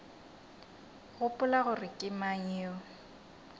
gopola gore ke mang yo